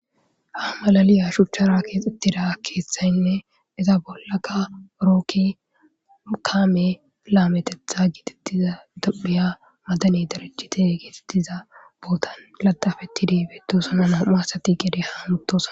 Ha malaliya shuchchara keexxettida keeththaynne iza bollaka orokki kaame lametetha giitettiza tophiya madani darachite geetettiza bootan ladafeti diibetosanan homasati gede ha mutosan.